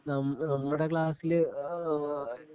നമ്മുടെ ക്ലാസ്സിലെ ആ ആ ആ